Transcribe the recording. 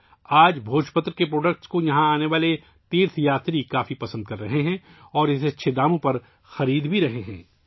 آج بھوج پتر کی مصنوعات یہاں آنے والے یاتریوں کو بہت پسند ہیں اور وہ اسے اچھی قیمت پر خرید بھی رہے ہیں